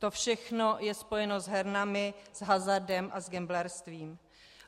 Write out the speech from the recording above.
To všechno je spojeno s hernami, s hazardem a s gamblerstvím.